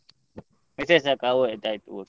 Message ಸಾಕ ಒ ಆಯ್ತಯ್ತು okay .